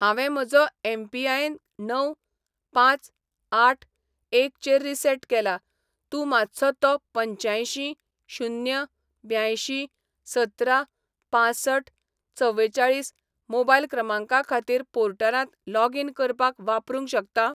हांवें म्हजो एमपीआयएन णव पांच आठ एक चेर रीसेट केला, तूं मातसो तोपंच्यांयशी शून्य ब्यांयशीं सतरा पांसठ चवेचाळीस मोबायल क्रमांका खातीर पोर्टलांत लॉगीन करपाक वापरूंक शकता?